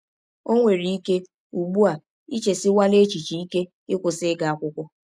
Ọ nwere ike, ụgbụ a, i chesiwela echiche ike ịkwụsị ịga akwụkwọ.